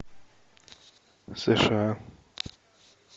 сша